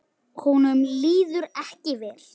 Honum líður ekki vel núna.